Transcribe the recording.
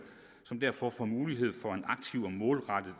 som derfor får mulighed for en aktiv og målrettet